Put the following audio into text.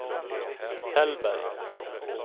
Tällberg